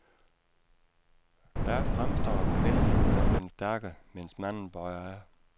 Der fremstår kvinden som den stærke, mens manden bøjer af.